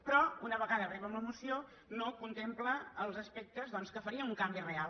però una vegada arriba amb la moció no contempla els aspectes doncs que farien un canvi real